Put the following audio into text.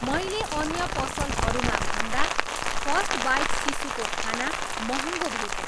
मैले अन्य पसलहरूमा भन्दा फस्ट बाइट शिशुको खाना महँगो भेटेँ